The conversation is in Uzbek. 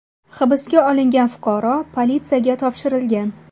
Hibsga olingan fuqaro politsiyaga topshirilgan.